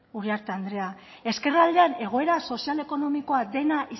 uriarte andrea ezkerraldean egoera sozial ekonomikoa